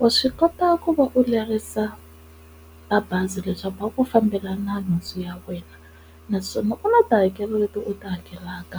Wa swi kota ku va u lerisa mabazi leswaku va ku fambelana nhundzu ya wena naswona ku na tihakelo leti u ta hakelaka